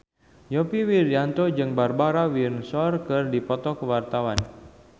Yovie Widianto jeung Barbara Windsor keur dipoto ku wartawan